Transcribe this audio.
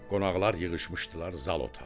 Qonaqlar yığışmışdılar zal otağına.